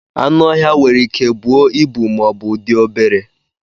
Anụ ọhịa nwere Ike buo ịbu ma ọbụ dị obere